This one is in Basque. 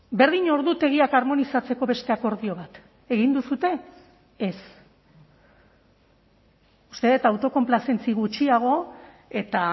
berdin ordutegiak harmonizatzeko beste akordio bat egin duzue ez uste dut autokonplazentzia gutxiago eta